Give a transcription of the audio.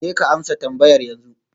Jeka amsa tambayar yanzu